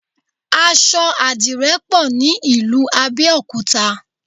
Aṣọ adìrẹ pọ̀ ní ìlú Abẹ́òkúta